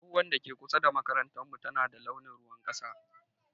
Tsohuwar da ke kusa da makarantar mu tana da launin ruwan kasa.